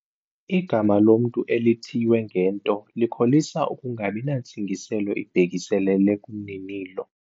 Igama lomntu elithiywe ngento likholisa ukungabi nantsingiselo ibhekiselele kumninilo.